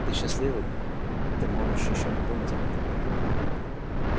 ты счастливый ты можешь ещё не думать об этом